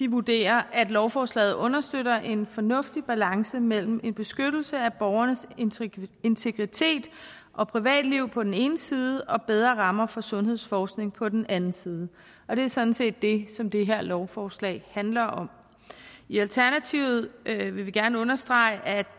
vurderer at lovforslaget understøtter en fornuftig balance mellem en beskyttelse af borgernes integritet og privatliv på den ene side og bedre rammer for sundhedsforskning på den anden side og det er sådan set det som det her lovforslag handler om i alternativet vil vi gerne understrege at